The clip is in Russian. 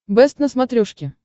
бэст на смотрешке